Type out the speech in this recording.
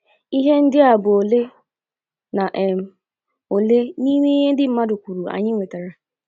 Ihe ndi a bụ ole na um ole n’ime ihe ndi mmadụ kwuru anyi nwetara. um